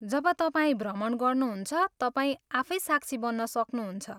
जब तपाईँ भ्रमण गर्नुहुन्छ, तपाईँ आफै साक्षी बन्न सक्नुहुन्छ।